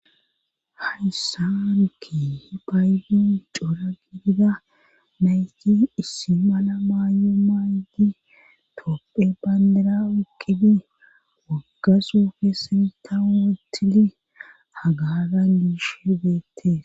hayssaanki hi baydon cora gidida nayti issi mala maayo maaydi topphe bandira iqqibi waggasufe sinta wotili hagara niish beette